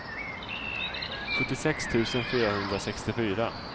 sjuttiosex tusen fyrahundrasextiofyra